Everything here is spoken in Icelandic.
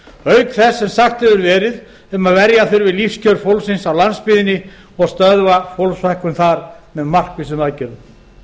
auk þess sem sagt hefur verið um að verja þurfi lífskjör fólks á landsbyggðinni og stöðva fólksfækkun þar með markvissum aðgerðum